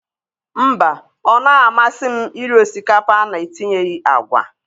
Mba, ọ naghị amasị m iri osikapa a na-etinyeghị agwa.